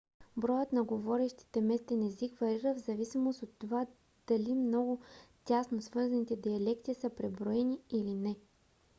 броят на говорящите местен език варира в зависимост от това дали много тясно свързаните диалекти са преброени или не